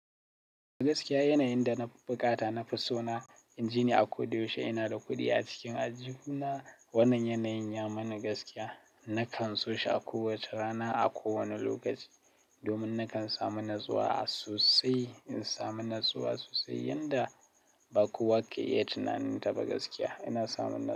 Gaskiya yanayin da na fi buƙata na fi so na inji ni a ko da yaushe. Ina da kuɗi a cikin aljihu na wannan yanayin ya mani gaskiya. Nakan so shi a kowace rana, a kowane lokaci domin nakan samu natsuwa sosai. In samu natsuwa sosai, yanda ba kowa ke iya tunanin ta ba gaskiya ina samun natsuwa.